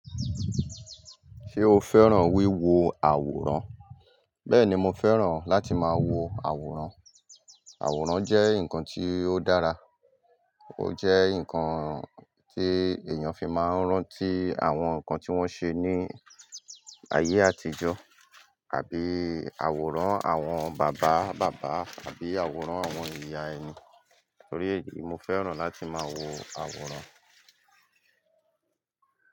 Ṣé o fẹ́ràn wíwo àwòrán? Bẹ́ẹ̀ni, mo fẹ́ràn láti máa wo àwòrán. Àwòrán jẹ́ nǹkan tí ó dára, ó jẹ́ nǹkan tí èèyàn fi máa ń rántí àwọn nǹkan tí wọ́n ṣe ní ayé àtijọ́ àbí àwòrán àwọn bàbá bàbá àbí àwòrán àwọn ìyá ẹni. Torí èyí, mo fẹ́ràn láti máa wo àwòrán.